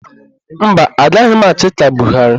Mba, agaghị m achị ka Buharị.